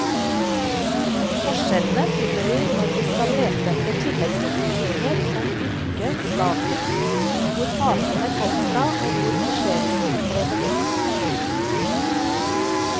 Forskjellene finner vi når vi skal lete etter tilleggsopplysninger som yrke, status, hvor partene kom fra og hvor forseelsen ble begått.